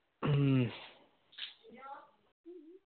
ഹ്മ്മ്മ്